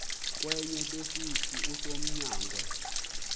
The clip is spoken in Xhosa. kwenye besithi usonyangwe